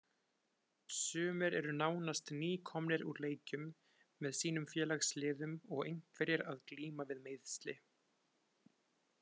Sumir eru nánast nýkomnir úr leikjum með sínum félagsliðum og einhverjir að glíma við meiðsli.